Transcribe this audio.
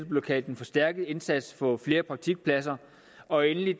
blev kaldt den forstærkede indsats for at få flere praktikpladser og endelig